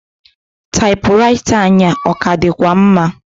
Taịpụraịta anyị a, ọ ka dịkwa mma?